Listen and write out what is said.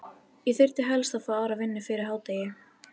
Ég þyrfti helst að fá aðra vinnu fyrir hádegi.